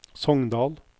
Sogndal